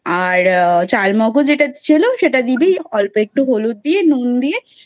আর চাল মগজ এটা ছিলো সেটা দিবি অল্প একটু হলুদ দিয়ে নুন দিয়ে,